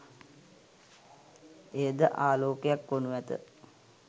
එය ද ආලෝකයක් වනු ඇත.